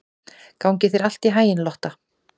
Gangi þér allt í haginn, Lotta.